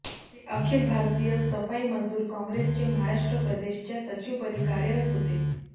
ते अखिल भारतीय सफाई मजदूर काँग्रेसचे महाराष्ट्र प्रदेशच्या सचिवपदी कार्यरत होते